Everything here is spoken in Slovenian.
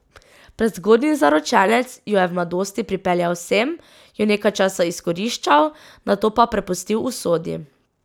Prezgodnji zaročenec jo je v mladosti pripeljal sem, jo nekaj časa izkoriščal, nato pa prepustil usodi.